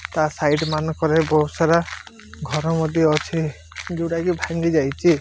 ତା ସାଇଡ୍ ମାନକରେ ବହୁତ୍ ସାରା ଘର ମଧ୍ୟ ଅଛି ଯୋଉଟାକି ଭାଙ୍ଗି ଯାଇଚି।